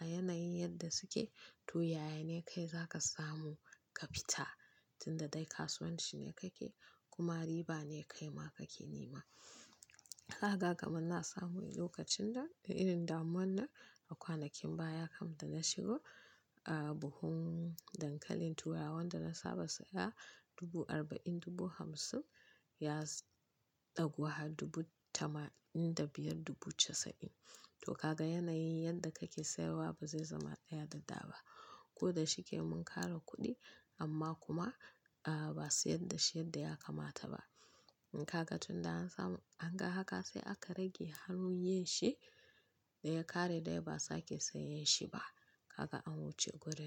a yanayi yadda suke to yaya ne kai za ka samu ka fita tunda dai kasuwan shi ne kake kuma riba ne kai ma kake nema. Kaka kamar na samu lokacin da irin damuwan nan a kwanakin baya kam da na shigo buhun dankalin turawa wanda na saba saya dubu arba'in, dubu hamsin ya ɗagu har dubu tamanin da biyar dubu casa'in. To kaka yanayin yadda kake sayarwa ba zai zama tsaya da da ba ko da shike mun kare kuɗi amma kuma ba sayar da shi yadda ya kamata ba. Kaka tunda an samu an ga haka sai aka rage hannun yin shi da ya ƙare dai ba sake sayen shi ba. Kaka an wuce gurin.